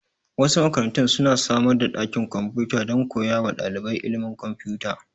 Wasu makarantun su na samar da ɗakin kwamfuta don koya wa ɗalibai ilimin kwamfuta